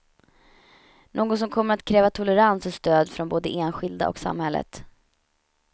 Något som kommer att kräva tolerans och stöd från både enskilda och samhället.